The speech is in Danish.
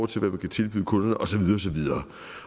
til hvad man kan tilbyde kunderne og så videre